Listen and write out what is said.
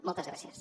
moltes gràcies